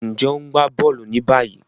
Njé o n gbà bóòlù ní báyìí?